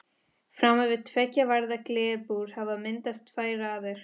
Framan við tveggja varða glerbúr hafa myndast tvær raðir.